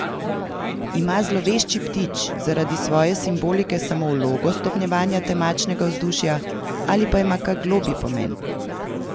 Ima zlovešči ptič zaradi svoje simbolike samo vlogo stopnjevanja temačnega vzdušja, ali pa ima kak globlji pomen?